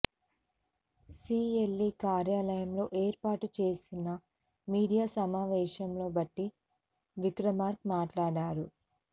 CLP కార్యాలయంలో ఏర్పాటు చేసిన మీడియా సమావేశంలో భట్టి విక్రమార్క మాట్లాడారు